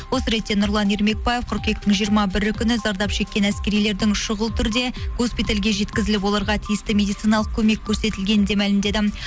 осы ретте нұрлан ермекбаев қыркүйектің жиырма бірі күні зардап шеккен әскерилердің шұғыл түрде госпитальға жеткізіліп оларға тиісті медициналық көмек көрсетілгенін де мәлімдеді